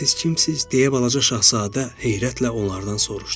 Siz kimsiz, deyə balaca şahzadə heyrətlə onlardan soruşdu.